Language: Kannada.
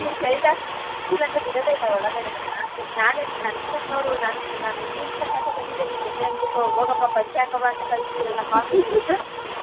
Shirt ಹಾಕಿಲ್ಲ ಅಂದ್ರೆ ಬಿಡದೇ ಇಲ್ಲ ಒಳಗದೆ ನಮ್ನ ನಾನೇನ್ ನನ್ದನ್ ನೋಡು ನಾನು ನಾನು jeans pant ಹಾಕ್ಕೊಂಡ್ ಬಂದಿದ್ದೆ ನೀನ್ ಜೊತೆ ಅನ್ಬಿಟ್ಟು ಹೋಗಪ್ಪ ಪಂಚೆ ಹಾಕೊ ಬಾ ಅಂತ ಕಳ್ಸದ್ರಲ್ಲ comedy .